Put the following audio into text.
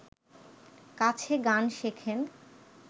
কাছে গান শেখেন